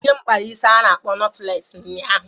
Nne m kpara isi a na-akpọ notụles ụnyaahụ.